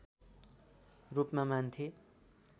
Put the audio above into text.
रूपमा मान्थे